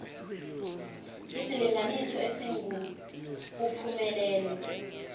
isilinganiso esingu uphumelele